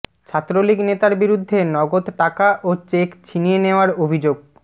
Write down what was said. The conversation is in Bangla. ছাত্রলীগ নেতার বিরুদ্ধে নগদ টাকা ও চেক ছিনিয়ে নেওয়ার অভিযোগ